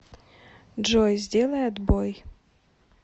джой сделай отбой